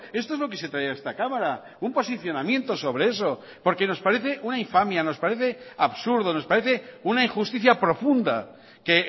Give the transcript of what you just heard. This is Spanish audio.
esto es lo que se trae a esta cámara un posicionamiento sobre eso porque nos parece una infamia nos parece absurdo nos parece una injusticia profunda que